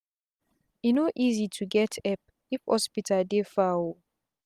e no easi to get epp if hospital dey far o